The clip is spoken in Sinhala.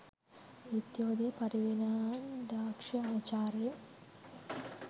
විද්‍යෝදය පරිවේනාධාක්‍ෂ ආචාර්ය